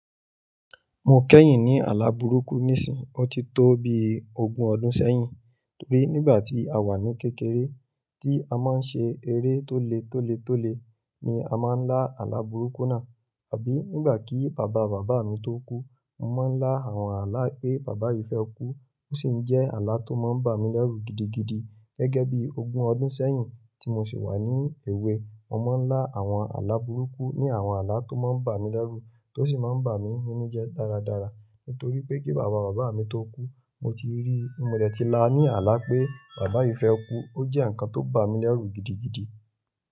Mo kẹ́yìn ní àlà burúkú nísìín, ó ti tó bíi ogún ọdún sẹ́yìn. Torí nígbà tí a wà ní kékeré tí a máa ń ṣe eré tó le tó le tó le ni a máa ń lá àlà burúkú náà, àbí nígbà kí bàba bàbá mi tó kú, mo máa ń lá àwọn àlà pé Bàbá yìí fẹ́ kú, ó sì ń jẹ́ àlà tó máa ń bà mí lẹ́rù gidigidi. Gẹ́gẹ́ bí ogún ọdún sẹ́yìn tí mo ṣì wà ní èwe, mo máa ń lá àwọn àlà burúkú ní àwọn àlà tó máa ń bà mí lẹ́rù tó sì máa ń bà mí nínú jẹ dáradára. Nítorí pé kí bàba bàbá mi tó kú, mo ti rí, mo dẹ̀ ti la ní àlà pé Bàbá yìí fẹ́ kú, ó jẹ́ nǹkan tó bà mí lẹ́rù gidigidi.